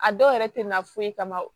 A dɔw yɛrɛ tɛ na foyi kama o